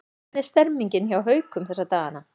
Hvernig er stemningin hjá Haukum um þessa dagana?